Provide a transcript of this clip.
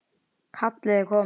Kallið er komið